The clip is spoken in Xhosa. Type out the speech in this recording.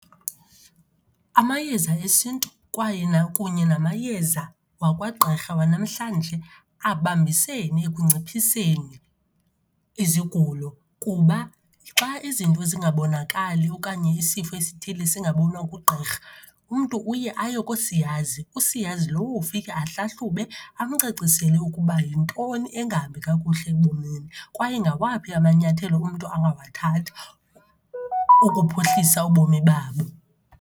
Amayeza esiNtu kwaye kunye namayeza wakwagqirha wanamhlanje abambisene ekunciphiseni izigulo kuba xa izinto zingabonakali okanye isifo esithile singabonwa ngugqirha, umntu uye ayo koosiyazi. Usiyazi lowo ufike ahlahlube, amcacisele ukuba yintoni engahambi kakuhle ebomini kwaye ngawaphi amanyathelo umntu angawathatha ukuphuhlisa ubomi babo.